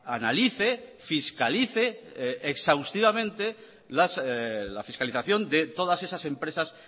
analice fiscalice exhaustivamente la fiscalización de todas esas empresas